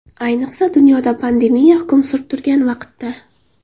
Ayniqsa dunyoda pandemiya hukm surib turgan vaqtda.